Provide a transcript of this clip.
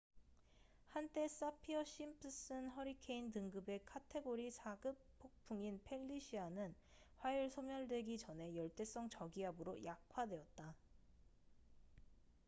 한때 사피어 심프슨 허리케인 등급의 카테고리 4급 폭풍인 펠리시아는 화요일 소멸되기 전에 열대성 저기압으로 약화되었다